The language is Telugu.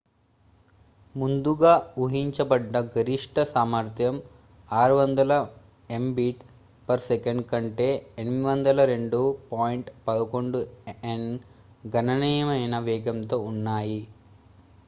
ముందుగా ఊహించబడ్డ గరిష్ఠ సామర్థ్యం 600mbit/s కంటే 802.11n గణనీయమైన వేగంతో ఉన్నాయి